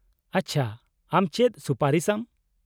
-ᱟᱪᱪᱷᱟ, ᱟᱢ ᱪᱮᱫ ᱥᱩᱯᱟᱨᱤᱥ ᱟᱢ ?